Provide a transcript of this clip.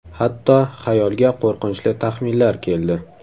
Hatto xayolga qo‘rqinchli taxminlar keldi.